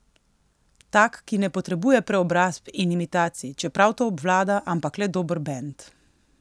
Tak, ki ne potrebuje preobrazb in imitacij, čeprav to obvlada, ampak le dober bend.